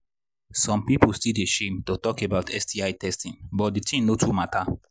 some people still they shame to shame to talk about sti testing but the thing no too matter